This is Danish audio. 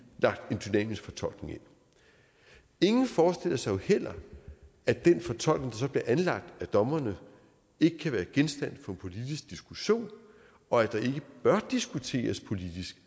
dynamisk fortolkning ind ingen forestiller sig jo heller at den fortolkning der så bliver anlagt af dommerne ikke kan være genstand for en politisk diskussion og at der ikke bør diskuteres politisk